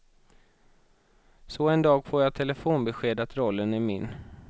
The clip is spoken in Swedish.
Så en dag får jag telefonbesked att rollen är min.